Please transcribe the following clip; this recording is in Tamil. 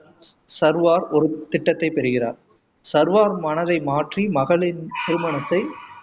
சர்வார் ஒரு திட்டத்தை பெறுகிறார் சர்வர் மனதை மாற்றி மகளின் திருமணத்தை